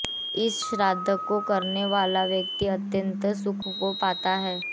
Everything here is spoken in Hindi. इस श्राद्ध को करने वाला व्यक्ति अत्यंत सुख को पाता है